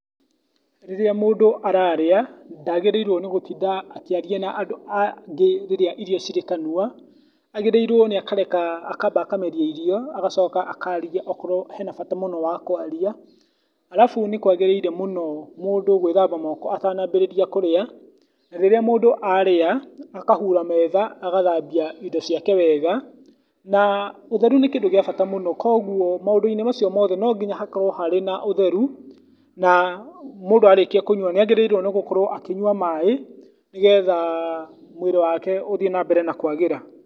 Rĩrĩa mũndũ ararĩa, ndagĩrĩirwo nĩ gũtinda akĩaria na andũ angĩ rĩrĩa irio cirĩ kanua, agĩrĩirwo nĩ akareka, akamba akameria irio agacoka akaria, akorwo hena bata mũno wa kwaria. Arabu, nĩ kwagĩrĩire mũno mũndũ gwĩthamba moko atanambĩrĩria kũrĩa, na rĩrĩa mũndũ arĩa, akahura metha, agathambia indo ciake wega, na ũtheru nĩ kĩndũ gĩa bata mũno, koguo maũndũ-inĩ macio mothe no nginya hakorwo harĩ a ũtheru, na mũndũ arĩkia kũnyua nĩ agĩrĩirwo gũkorwo akinyua maĩ, nĩgetha mwĩrĩ wake ũthiĩ na mbere na kwagĩra.